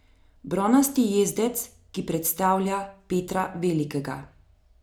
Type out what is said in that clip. Bronasti jezdec, ki predstavlja Petra Velikega ...